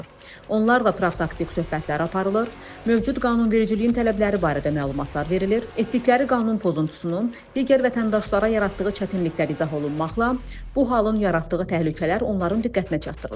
Onlarla profilaktik söhbətlər aparılır, mövcud qanunvericiliyin tələbləri barədə məlumatlar verilir, etdikləri qanun pozuntusunun digər vətəndaşlara yaratdığı çətinliklər izah olunmaqla bu halın yaratdığı təhlükələr onların diqqətinə çatdırılır.